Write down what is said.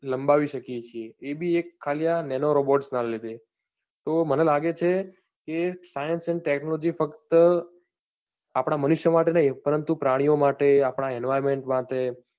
લંબાવી શકીએ છીએ એ બી આ ખાલી nano robot ના લીધે તો મને લાગે છે કે science and technology ફક્ત આપણા મનુષ્ય માટે નહિ પરંતુ પ્રાણીઓં માટે, આપના environment માટે